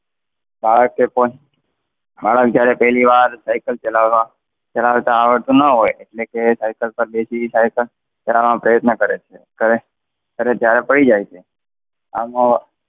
માણસ જ્યારે પહેલીવાર સાયકલ ચલાવવા ચલાવતા આવડતું ન હોય, ને સાઇકલ પર બેસી સાઇકલ ચલાવવાનો પ્રયત્ન કરે છે. અને જ્યારે પડી જાય છે, આનો